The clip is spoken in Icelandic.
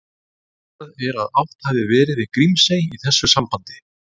Útilokað er að átt hafi verið við Grímsey í þessu sambandi.